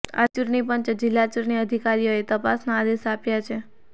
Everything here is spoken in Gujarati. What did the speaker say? આથી ચૂંટણી પંચે જિલ્લા ચૂંટણી અધિકારીને તપાસના આદેશ આપ્યા છે